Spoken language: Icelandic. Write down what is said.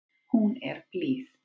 Hún er blíð.